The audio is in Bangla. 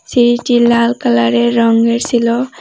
সিঁড়িটি লাল কালারের রঙ্গের সিল।